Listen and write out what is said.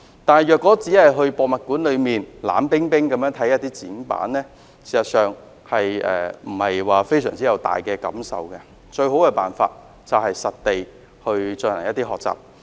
可是，如果只是前往博物館，觀看冷冰冰的展板，事實上不會令人有太大感受，而最好的辦法是實地學習。